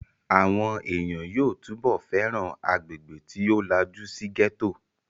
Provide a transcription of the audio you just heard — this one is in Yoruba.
Àwọn èèyàn yóò túbọ̀ fẹ́ràn agbègbè tí ó lajú sí gẹ́tò